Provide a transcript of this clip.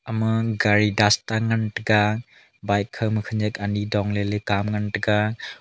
ema gari dasta ngan taga bike khangkha khanak ani dong ley ley kam ngan taga.